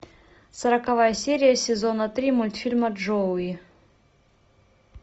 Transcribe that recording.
сороковая серия сезона три мультфильма джоуи